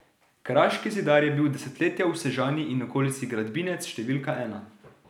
Kraški zidar je bil desetletja v Sežani in okolici gradbinec številka ena.